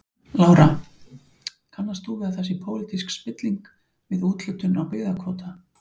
Lára: Kannast þú við að það sé pólitísk spilling við úthlutun á byggðakvóta?